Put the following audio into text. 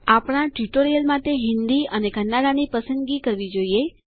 આપણા ટ્યુટોરીયલ માટે હિન્દી અને કન્નડાની પસંદગી કરવી જોઈએ